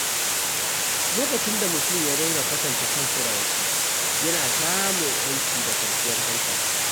Lokacin da mutum ya daina kwatanta kansa da wasu, yana samun yanci da kwanciyar hankali.